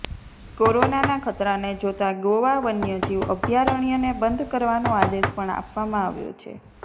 કોરોનાના ખતરાને જોતા ગોવા વન્ય જીવ અભયારણ્યને બંધ કરવાનો આદેશ પણ આપવામાં આવ્યો છે